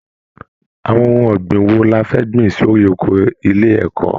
Àwọn ohun ọ̀gbìn wo la fẹ́ gbìn sórí oko ilé ẹ̀kọ́!